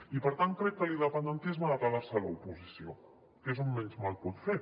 i per tant crec que l’independentisme ha de quedar se a l’oposició que és on menys mal pot fer